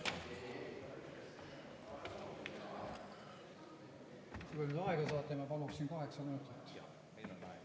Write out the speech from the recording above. Kui te nüüd aega saate, ma paluksin kaheksa minutit.